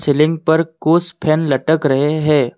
Ceiling पर कुछ fan लटक रहे है।